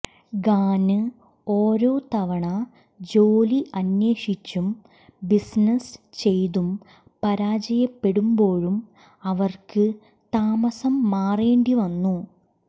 ഖാന് ഓരോ തവണ ജോലി അന്വേഷിച്ചും ബിസിനസ് ചെയ്തും പരാജയപ്പെടുമ്പോഴും അവര്ക്ക് താമസം മാറേണ്ടിവന്നു